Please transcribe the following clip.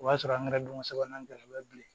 O y'a sɔrɔ an kɛra donko sabanan gɛlɛya bɛ bilen